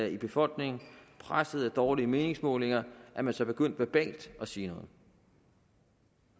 i befolkningen og presset af dårlige meningsmålinger er man så begyndt verbalt at sige noget